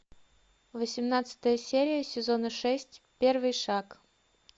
восемнадцатая серия сезона шесть первый шаг